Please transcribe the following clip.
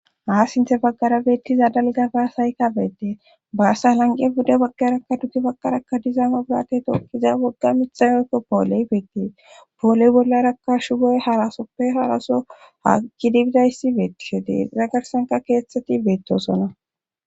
Ha sinthe baggara beettiza dalgagashayka beetde baassa lanqe bude baggarakka duge baggarakka dizaama burate tookkiza wogga mithayoykko pooley beetti pooley bollaraka shugoy harasoppe haraso haakgidibidayssi beettisho deiza garsanka keethteti beettosonna